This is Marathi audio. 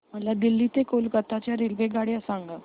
मला दिल्ली ते कोलकता च्या रेल्वेगाड्या सांगा